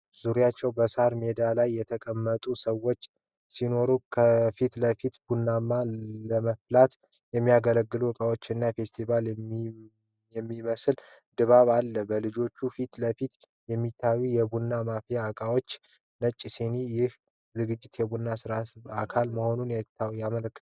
ዙሪያቸው በሣር ሜዳ ላይ የተቀመጡ ተማሪዎች ሲኖሩ፣ ከፊት ለፊት ቡና ለመፍላት የሚያገለግሉ እቃዎች እና ፌስቲቫል የሚመስል ድባብ አለ። በልጆቹ ፊት ለፊት የሚታዩት የቡና ማፍያ እቃዎችና ነጭ ስኒዎች ይህ ዝግጅት የቡና ሥነ-ሥርዓት አካል መሆኑን ያመላክታል?